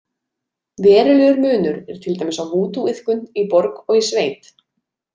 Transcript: Verulegur munur er til dæmis á vúdúiðkun í borg og í sveit.